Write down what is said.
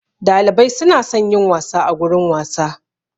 Dalibai su na son yin wasa a gurin wasa.